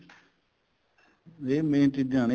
ਇਹ main ਚੀਜ਼ਾਂ ਨੇ